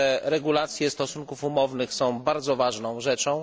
Regulacje stosunków umownych są bardzo ważną rzeczą.